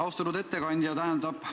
Austatud ettekandja!